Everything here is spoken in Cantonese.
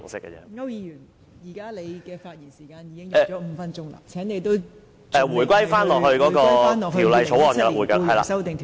區諾軒議員，你已發言5分鐘，請你返回《2017年僱傭條例草案》二讀辯論的議題。